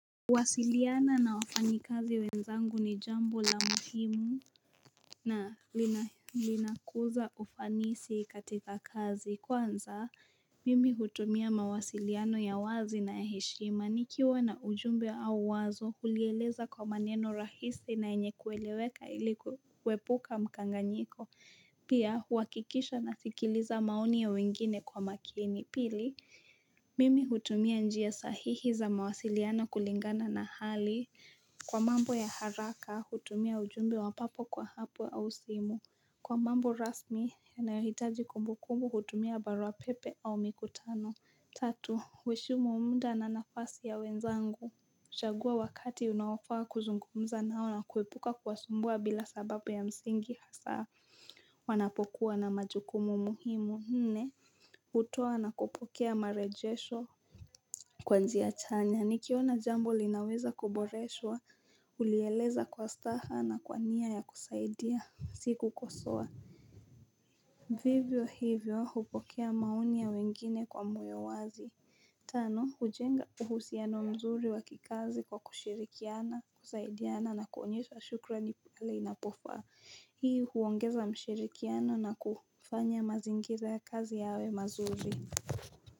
Kuwasiliana na wafanyikazi wenzangu ni jambo la muhimu na linakuza ufanisi katika kazi kwanza mimi hutumia mawasiliano ya wazi na ya heshima. Nikiwa na ujumbe au wazo hulieleza kwa maneno rahisi na yenye kueleweka ili kuepuka mkanganyiko pia huhakikisha nasikiliza maoni ya wengine kwa makini. Pili Mimi hutumia njia sahihi za mawasiliano kulingana na hali, kwa mambo ya haraka hutumia ujumbe wa papo kwa hapo au simu. Kwa mambo rasmi yanayohitaji kumbukumbu hutumia barua pepe au mikutano. Tatu, huheshimu muda na nafasi ya wenzangu. Chagua wakati unaofaa kuzungumza nao na kuepuka kuwasumbua bila sababu ya msingi hasa wanapokuwa na majukumu muhimu. Nne, hutoa na kupokea marejesho kwa njia chanya, nikiona jambo linaweza kuboreshwa, hulieleza kwa staha na kwa nia ya kusaidia, si kukosoa. Vivyo hivyo, hupokea maoni ya wengine kwa moyo wazi. Tano, hujenga uhusiano mzuri wa kikazi kwa kushirikiana, kusaidiana na kuonyesha shukurani pale inapofaa, hii huongeza mshirikiano na kufanya mazingira ya kazi yawe mazuri.